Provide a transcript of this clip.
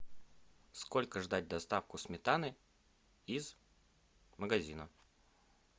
сколько ждать доставку сметаны из магазина